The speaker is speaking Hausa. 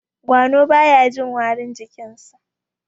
gwano baya Jin warin jikinsa